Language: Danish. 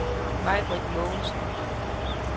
Maj-Britt Mogensen